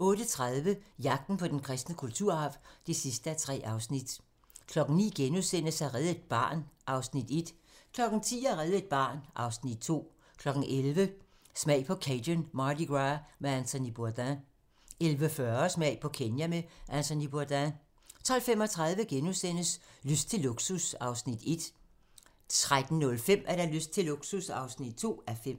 08:30: Jagten på den kristne kulturarv (3:3) 09:00: At redde et barn (Afs. 1)* 10:00: At redde et barn (Afs. 2) 11:00: Smag på Cajun Mardi Gras med Anthony Bourdain 11:40: Smag på Kenya med Anthony Bourdain 12:35: Lyst til luksus (1:5)* 13:05: Lyst til luksus (2:5)